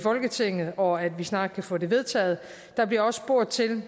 folketinget og at vi snart kan få det vedtaget der bliver også spurgt til